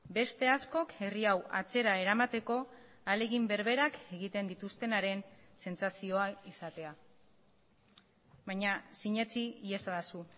beste askok herri hau atzera eramateko ahalegin berberak egiten dituztenaren sentsazioa izatea baina sinetsi iezadazu